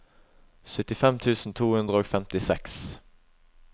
syttifem tusen to hundre og femtiseks